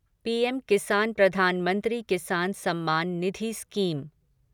PM Kisan Pradhan Mantri Kisan Samman Nidhi scheme